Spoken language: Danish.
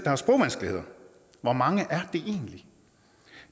har sprogvanskeligheder hvor mange er det egentlig